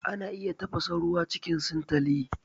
Ana iya tafasa ruwa cikin sintali